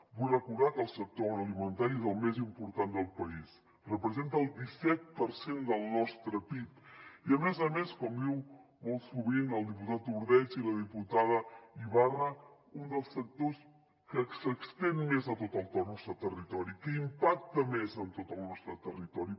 vull recordar que el sector agroalimentari és el més important del país representa el disset per cent del nostre pib i a més a més com diuen molt sovint el diputat ordeig i la diputada ibarra un dels sectors que s’estén més a tot el nostre territori que impacta més en tot el nostre territori